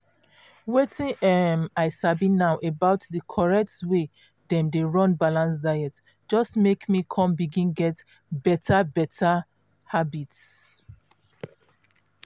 wetin um i sabi now about di correct way dem dey run balanced diets just make me come begin get beta um habits.